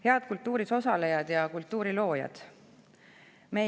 Head kultuuris osalejad ja kultuuri loojad!